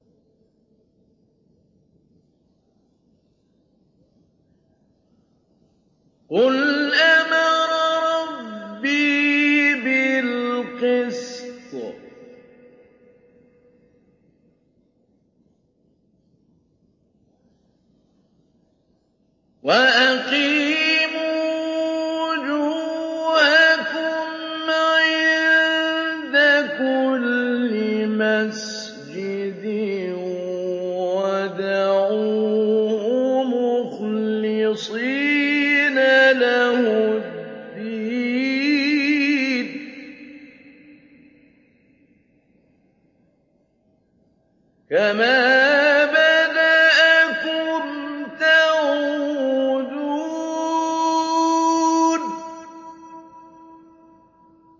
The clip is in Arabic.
قُلْ أَمَرَ رَبِّي بِالْقِسْطِ ۖ وَأَقِيمُوا وُجُوهَكُمْ عِندَ كُلِّ مَسْجِدٍ وَادْعُوهُ مُخْلِصِينَ لَهُ الدِّينَ ۚ كَمَا بَدَأَكُمْ تَعُودُونَ